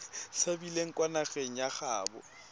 tshabileng kwa nageng ya gaabo